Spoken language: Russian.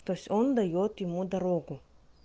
то есть он даёт ему дорогу